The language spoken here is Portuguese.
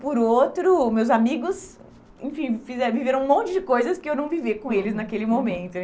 Por outro, meus amigos enfim viveram um monte de coisas que eu não vivi com eles naquele momento.